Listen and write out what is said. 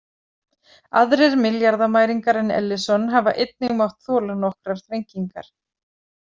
Aðrir milljarðamæringar en Ellison hafa einnig mátt þola nokkrar þrengingar.